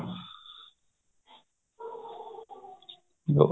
ਜੋ